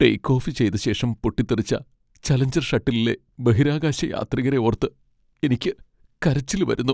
Take off ചെയ്ത ശേഷം പൊട്ടിത്തെറിച്ച ചലഞ്ചർ ഷട്ടിലിലെ ബഹിരാകാശയാത്രികരെ ഓർത്ത് എനിക്ക് കരച്ചിൽ വരുന്നു.